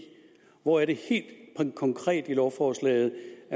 hvor er det helt konkret i lovforslaget